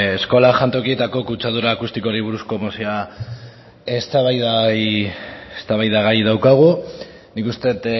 eskolen jantokietako kutsadura akustikoari buruzko mozioa eztabaidagai daukagu nik uste dut